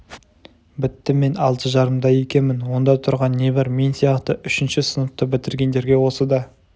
бітті мен алты жарымда екенмін онда тұрған не бар мен сияқты үшінші сыныпты бітіргендерге осы да